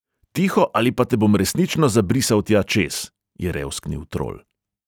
“tiho, ali pa te bom resnično zabrisal tja čez!” je revsknil trol.